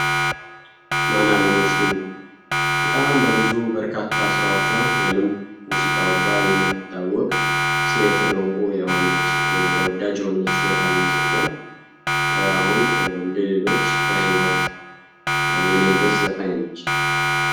ማንአልሞሽ ሊሞ በጣም በብዙ ስራዎች ወይም ሙዚቃዎቿ ሴት እንቁ የሆነች ተወዳጅ የሆነች ዘፋኝ ስትሆን አሁን እንደሌሎች በህይወት የሌለች ዘፋኝ ነች።